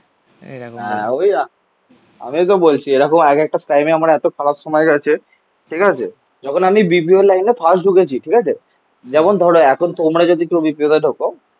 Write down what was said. ওই আমিও তো বলছি. এরকম এক একটা টাইমে আমার এতো খারাপ সময় গেছে ঠিক আছে? যখন আমি Bpo র লাইনে ফার্স্ট ঢুকেছি ঠিক আছে. যেমন ধরো এখন তোমরা যদি কেউ Bpo তে ঢোকো